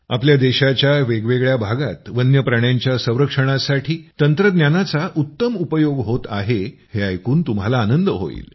आपल्या देशाच्या वेगवेगळ्या भागात वन्य प्राण्यांच्या संरक्षणासाठी तंत्रज्ञानाचा उत्तम उपयोग होत आहे हे ऐकून तुम्हाला आनंद होईल